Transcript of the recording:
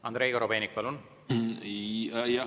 Andrei Korobeinik, palun!